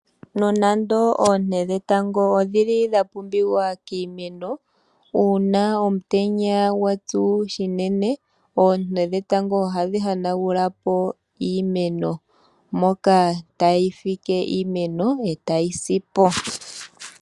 Nonando oonte dhetango odhi li dha pumbiwa kiimeno, uuna omutenya gwa tsu unene, oonte dhetango ohadhi hanagula po iimeno, moka tadhi fike iimeno e tayi si po.